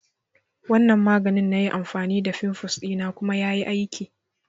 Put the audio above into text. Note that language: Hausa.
Wanan maganin na yi amfani da fimfles dina kuma ya yi aiki